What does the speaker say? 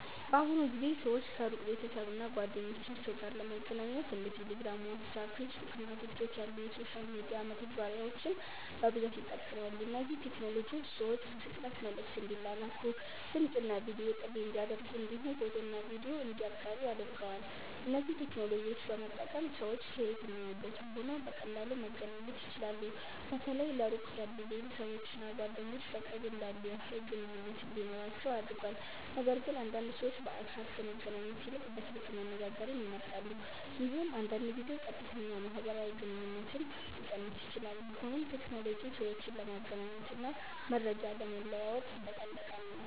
በአሁኑ ጊዜ ሰዎች ከሩቅ ቤተሰብ እና ጓደኞቻቸው ጋር ለመገናኘት እንደ ቴሌግራም፣ ዋትስአፕ፣ ፌስቡክ እና ቲክቶክ ያሉ የሶሻል ሚዲያ መተግበሪያዎችን በብዛት ይጠቀማሉ። እነዚህ ቴክኖሎጂዎች ሰዎች በፍጥነት መልዕክት እንዲላላኩ፣ ድምፅ እና ቪዲዮ ጥሪ እንዲያደርጉ እንዲሁም ፎቶና ቪዲዮ እንዲያጋሩ አድርገዋል። እነዚህን ቴክኖሎጂዎች በመጠቀም ሰዎች ከየትኛውም ቦታ ሆነው በቀላሉ መገናኘት ይችላሉ። በተለይ ለሩቅ ያሉ ቤተሰቦች እና ጓደኞች በቅርብ እንዳሉ ያህል ግንኙነት እንዲኖራቸው አድርጓል። ነገርግን አንዳንድ ሰዎች በአካል ከመገናኘት ይልቅ በስልክ መነጋገርን ይመርጣሉ፣ ይህም አንዳንድ ጊዜ ቀጥተኛ ማህበራዊ ግንኙነትን ሊቀንስ ይችላል። ቢሆንም ቴክኖሎጂ ሰዎችን ለመገናኘት እና መረጃ ለመለዋወጥ በጣም ጠቃሚ ነው።